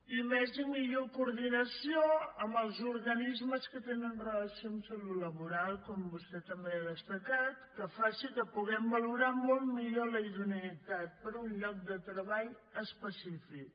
i més i millor coordinació amb els organismes que tenen relació amb salut laboral com vostè també ha destacat que faci que puguem valorar molt millor la idoneïtat per a un lloc de treball específic